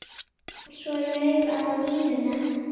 Spilaði svo laufi á NÍUNA.